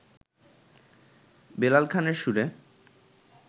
বেলাল খানের সুরে